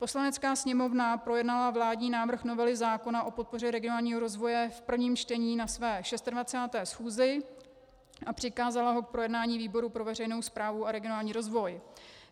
Poslanecká sněmovna projednala vládní návrh novely zákona o podpoře regionálního rozvoje v prvním čtení na své 26. schůzi a přikázala ho k projednání výboru pro veřejnou správu a regionální rozvoj.